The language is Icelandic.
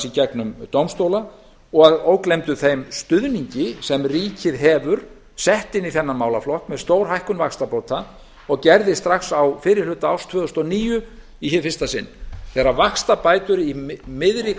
í gegnum dómstóla að ógleymdum þeim stuðningi sem ríkið hefur sett inn í þennan málaflokk með stórhækkun vaxtabóta og gerði strax á fyrri hluta árs tvö þúsund og níu í hið fyrsta sinn þegar vaxtabætur í miðri